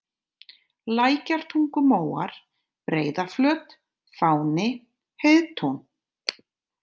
Lækjartungumóar, Breiðaflöt, Fáni, Heiðtún